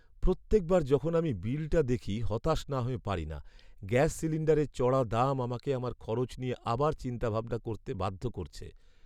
প্রত্যেকবার যখন আমি বিলটা দেখি হতাশ না হয়ে পারি না! গ্যাস সিলিণ্ডারের চড়া দাম আমাকে আমার খরচ নিয়ে আবার চিন্তাভাবনা করতে বাধ্য করছে।